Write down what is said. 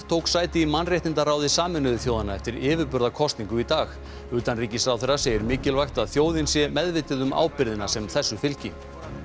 tók sæti í mannréttindaráði Sameinuðu þjóðanna eftir í dag utanríkisráðherra segir mikilvægt að þjóðin sé meðvituð um ábyrgðina sem þessu fylgi